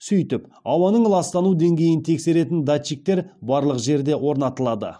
сөйтіп ауаның ластану деңгейін тексеретін датчиктер барлық жерде орнатылады